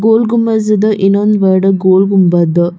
ಗೋಲ್ ಗುಮ್ಮಜ್ ಇದು ಇನ್ನೊಂದು ವರ್ಡ್ ಗೋಲ್ ಗುಮ್ಮಬದ್.